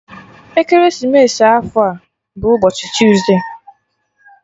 Ekeresimesi afọ a bụ ụbọchị tuesde